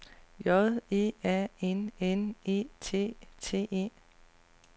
J E A N N E T T E